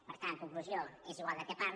per tant conclusió és igual del que parli